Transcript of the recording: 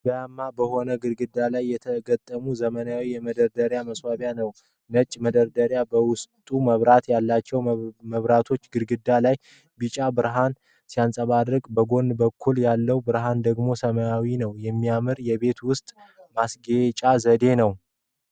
ድንጋያማ በሆነ ግድግዳ ላይ የተገጠመ ዘመናዊ የመደርደሪያ ማስዋቢያ ነው:: ነጭ መደርደሪያዎቹ በውስጣቸው መብራት አላቸው:: መብራቱ ግድግዳው ላይ ቢጫ ብርሃን ሲያንጸባርቅ፥ በጎን በኩል ያለው ብርሃን ደግሞ ሰማያዊ ነው:: የሚያምር የቤት ውስጥ ማስጌጫ ዘዴ ነው!